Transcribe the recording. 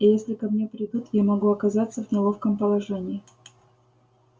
и если ко мне придут я могу оказаться в неловком положении